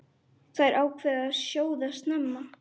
Þær ákváðu að sjóða snemma.